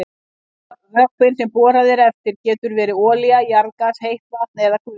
Vökvinn sem borað er eftir getur verið olía, jarðgas, heitt vatn eða gufa.